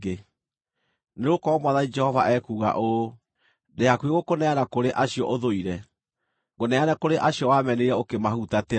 “Nĩgũkorwo Mwathani Jehova ekuuga ũũ: Ndĩ hakuhĩ gũkũneana kũrĩ acio ũthũire, ngũneane kũrĩ acio wamenire ũkĩmahutatĩra.